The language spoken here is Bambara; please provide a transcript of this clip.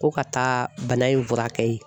Ko ka taa bana in fura kɛ